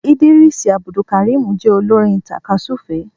Idrees Abdulkareem jé olorin takasufe